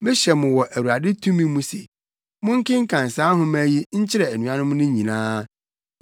Mehyɛ mo wɔ Awurade tumi mu se monkenkan saa nhoma yi nkyerɛ anuanom no nyinaa.